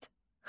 Xalat.